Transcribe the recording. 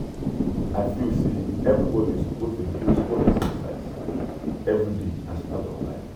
i feel say everybody suppose dey do small exercise everyday as part of life.